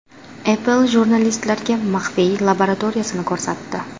Apple jurnalistlarga maxfiy laboratoriyasini ko‘rsatdi.